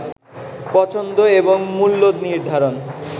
পছন্দ এবং মূল্য নির্ধারণ